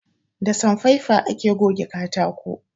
Da sanfaifa ake goge katako